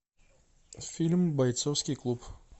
фильм бойцовский клуб